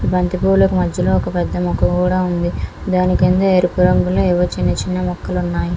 బంతిపూలకు మధ్యలో ఒక పెద్ద ముక్క కూడా ఉంది. దాని కింద ఎరుపు రంగులో ఏవో చిన్నచిన్న మొక్కలు ఉన్నాయి.